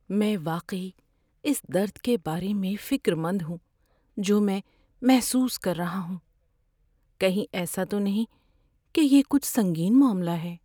میں واقعی اس درد کے بارے میں فکر مند ہوں جو میں محسوس کر رہا ہوں۔ کہیں ایسا تو نہیں کہ یہ کچھ سنگین معاملہ ہے؟